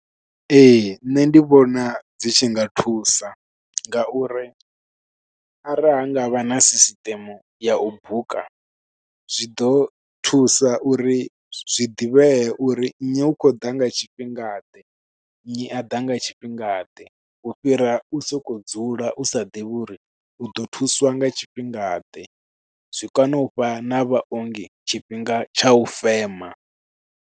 Ee, nṋe ndi vhona dzi tshi nga thusa nga uri arali ha ngavha na sisiṱeme ya u buka. Zwi ḓo thusa uri zwi ḓivhee uri nnyi, u khou ḓa nga tshifhinga ḓe, nnyi a ḓa nga tshifhinga ḓe. U fhira u sokou dzula u sa ḓivhi uri u ḓo thuswa nga tshifhinga ḓe, zwi kone u fha na vhaongi tshifhinga tsha u fema.